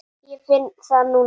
Ég finn það núna.